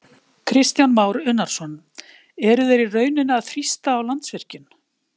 Kristján Már Unnarsson: Eru þeir í rauninni að þrýsta á Landsvirkjun?